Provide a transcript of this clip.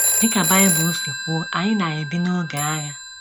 Dị ka Bible si kwuo, anyị na - ebi n’oge agha.